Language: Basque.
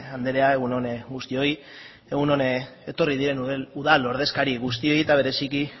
andrea egun on guztioi egun on etorri diren udal ordezkari guztiei eta bereziki